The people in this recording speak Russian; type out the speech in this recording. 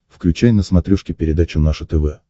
включай на смотрешке передачу наше тв